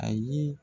A ye